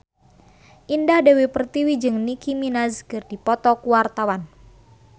Indah Dewi Pertiwi jeung Nicky Minaj keur dipoto ku wartawan